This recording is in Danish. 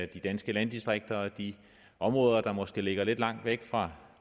de danske landdistrikter og de områder der måske ligger lidt langt væk fra